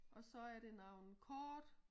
Og så er det nogen kort